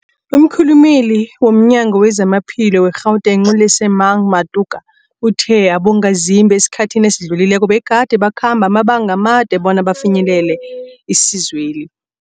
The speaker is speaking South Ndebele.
Umkhulumeli womNyango weZamaphilo we-Gauteng, u-Lesemang Matuka uthe abongazimbi esikhathini esidlulileko begade bakhamba amabanga amade bona bafinyelele isizweli.